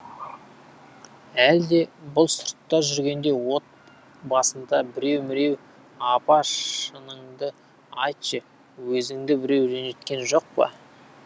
әлде бұл сыртта жүргенде отбасында біреу міреу апа шыныңды айтшы өзіңді біреу ренжіткен жоқ па